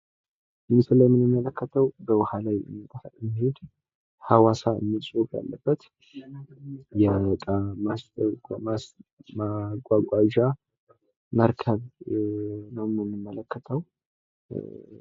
በምስሉ የምንመለከተው በውሃ ውስጥ ሐዋሳ የሚል ጽሑፍ ያለበት የእቃ ማጓጓዣ መርከብ ነው የምንመለከተው።